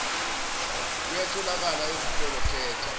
kuyatholakala ezitolo khetha